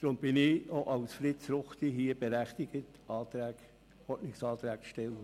Deswegen bin ich als Fritz Ruchti hier berechtigt, Ordnungsanträge zu stellen.